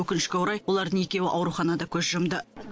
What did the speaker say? өкінішке орай олардың екеуі ауруханада көз жұмды